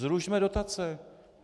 Zrušme dotace.